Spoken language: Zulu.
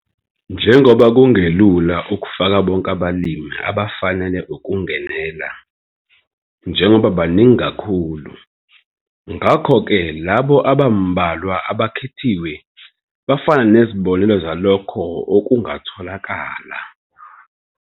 Njengoba kungelula ukufaka bonke abalimi abafanele ukungenela, njengoba baningi kakhulu, ngakho ke labo abambalwa abakhethiwe bafana nezibonelo zalokho okungatholakala.